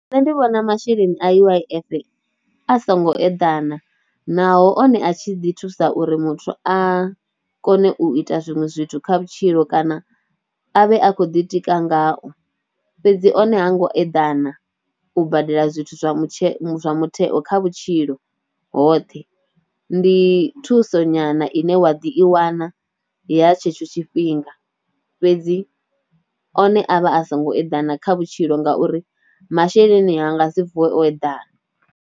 Nṋe ndi vhona masheleni a U_I_F a songo eḓana naho one a tshi ḓi thusa uri muthu a kone u ita zwiṅwe zwithu kha vhutshilo kana a vhe a khou ditika ngao fhedzi, one ha ngo eḓana u badela zwithu zwa mutshe, zwa mutheo kha vhutshilo hoṱhe, ndi thuso nyana ine wa ḓi i wana ya tshetsho tshifhinga fhedzi, one avha a songo eḓana kha vhutshilo ngauri masheleni a nga si vuwe o eḓana.